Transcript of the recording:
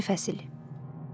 11-ci fəsil.